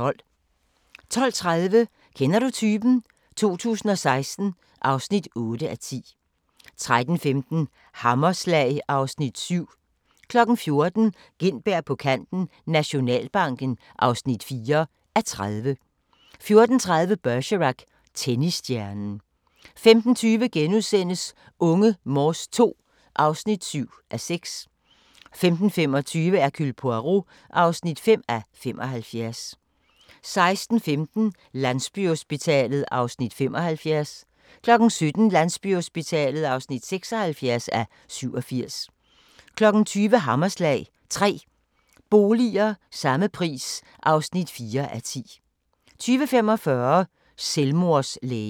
12:30: Kender du typen? 2016 (8:10) 13:15: Hammerslag (Afs. 7) 14:00: Gintberg på kanten - Nationalbanken (4:30) 14:30: Bergerac: Tennisstjernen 15:20: Unge Morse II (7:6)* 15:25: Hercule Poirot (5:75) 16:15: Landsbyhospitalet (75:87) 17:00: Landsbyhospitalet (76:87) 20:00: Hammerslag – 3 boliger – samme pris (4:10) 20:45: Selvmordslægen